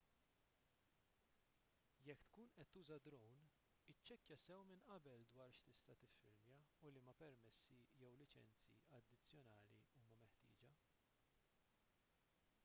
jekk tkun qed tuża drone iċċekkja sew minn qabel dwar x'tista' tiffilmja u liema permessi jew liċenzji addizzjonali huma meħtieġa